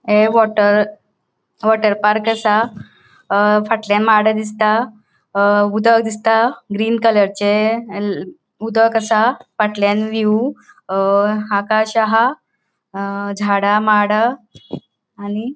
ये water water park असा अ फाटल्याण माड दिसता अ उदक दिसता ग्रीन कलरचे उदक असा फाटल्याण व्हिव अ आकाश आह अ झाड़ा माड हा आणि --